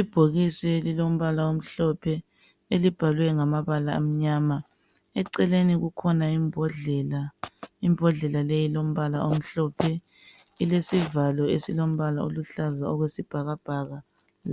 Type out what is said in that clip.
Ibhokisi elilombala omhlophe elibhalwe ngamabala amnyama eceleni kukhona imbodlela. Imbhodlela leyi ilombala omhlophe ilesivalo esilombala oluhlaza okwesihakabhaka